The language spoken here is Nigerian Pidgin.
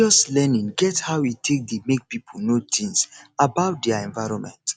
religious learning get how e take dey make pipo know things about their environment